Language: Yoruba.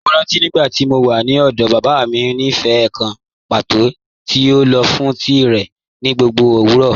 Mọ́ rántí nígbàtí mó wà ní ọ̀dọ̀, baba mi ni ífẹ́̀ kàn pátọ̀ tí o lọ fún tií rẹ ni gbogbo owurọ.